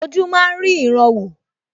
Ojú máa rí ìran wò